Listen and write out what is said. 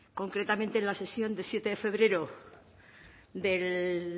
concretamente en la sesión de siete de febrero del